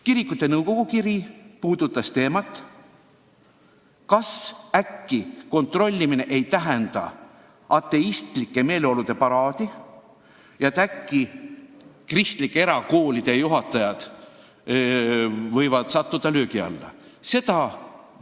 Kirikute nõukogu kiri puudutas küsimust, kas selline kontrollimine ei tähenda ateistlike meeleolude paraadi ja äkki kristlike erakoolide juhatajad võivad löögi alla sattuda.